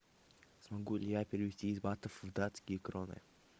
смогу ли я перевести из батов в датские кроны